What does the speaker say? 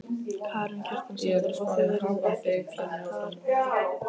Karen Kjartansdóttir: Og þið eruð ekkert pjattaðar með þetta?